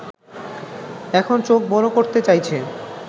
এখন চোখ বড় করতে চাইছে